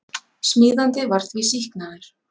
Smíðandi var því sýknaður